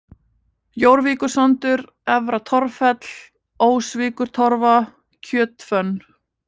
Jórvíkursandur, Efra-Torffell, Ósvíkurtorfa, Kjötfönn